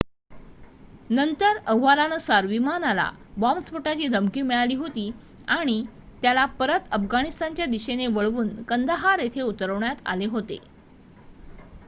नंतर अहवालांनुसार विमानाला बॉम्बस्फोटाची धमकी मिळाली होती आणि त्याला परत अफगाणिस्तानच्या दिशेने वळवून कंदाहार येथे उतरवण्यात आले होते